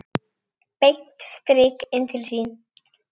Beint strik inn til sín.